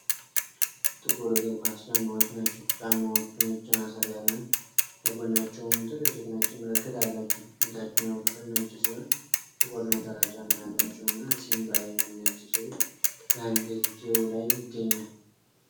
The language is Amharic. ጥቁር እግር ኳስ ጫማዎች ናቸው። ጫማዎቹ ነጭ ማሰሪያና ከጎናቸውም ትልልቅ ነጭ ምልክት አላቸው። የታችኛው ክፍል ነጭ ሲሆን፣ ጥቁር ነጠላ ጫማ ያላቸውና 'ሲምባ' የሚል ነጭ ጽሑፍ በአንገትጌው ላይ ይገኛል።